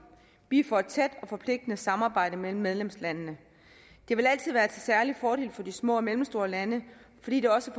vi er for et tæt og forpligtende samarbejde mellem medlemslandene det vil altid være til særlig fordel for de små og mellemstore lande fordi det også